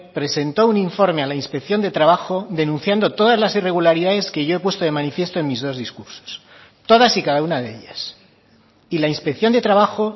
presentó un informe a la inspección de trabajo denunciando todas las irregularidades que yo he puesto de manifiesto en mis dos discursos todas y cada una de ellas y la inspección de trabajo